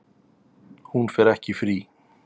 Hún fer ekki í frí.